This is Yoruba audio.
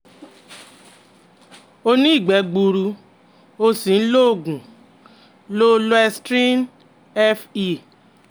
Ó ní ìgbẹ́ gbuuru, ó sì ń lo oògùn Lo loestrin Fe